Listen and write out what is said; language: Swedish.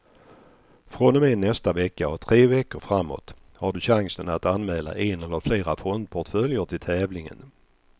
Från och med nästa vecka och tre veckor framåt har du chansen att anmäla en eller flera fondportföljer till tävlingen.